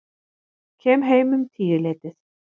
Kem heim um tíuleytið.